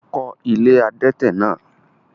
o kọ́ “ilé adẹ́tẹ̀” náà?